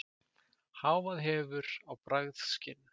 Hávaði hefur áhrif á bragðskyn